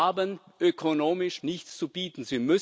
Sie haben ökonomisch nichts zu bieten